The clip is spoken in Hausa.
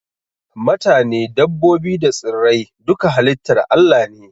Matane, dabbobi da tsirrai duka halitar Allah ne